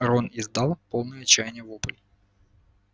рон издал полный отчаяния вопль